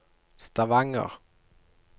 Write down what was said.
Stavanger